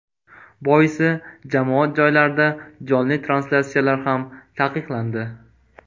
Boisi jamoat joylarida jonli translyatsiyalar ham taqiqlandi.